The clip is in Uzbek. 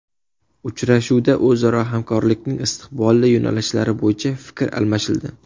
Uchrashuvda o‘zaro hamkorlikning istiqbolli yo‘nalishlari bo‘yicha fikr almashildi.